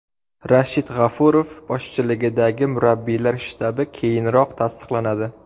Rashid G‘ofurov boshchiligidagi murabbiylar shtabi keyinroq tasdiqlanadi.